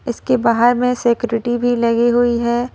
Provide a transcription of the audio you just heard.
इसके बाहर में सिक्योरिटी भी लगी हुई है।